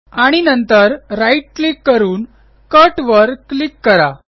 आणि नंतर right click करून कट वर क्लिक करा